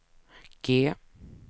G